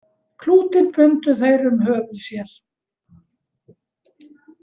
Klútinn bundu þeir um höfuð sér.